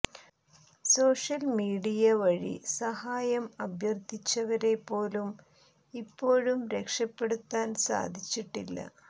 social media വഴി സഹായം അഭ്യർത്ഥിച്ചവരെ പോലും ഇപ്പോഴും രക്ഷപെടുത്താൻ സാധിച്ചിട്ടില്ല